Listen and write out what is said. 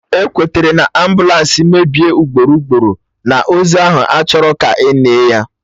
Ekwetere na, ambụlansị mebie ugboro ugboro, na ozu ahụ achọrọ ka enie ya